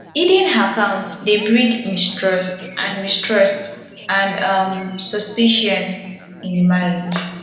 hidden account dey breed mistrust and mistrust and um suspicion in di marriage